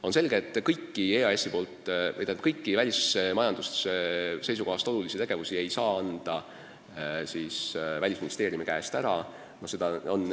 On selge, et kõiki välismajanduse seisukohast olulisi tegevusi ei saa Välisministeeriumi käest ära anda.